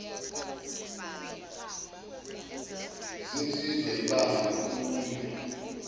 zisizwa yibanga lokuya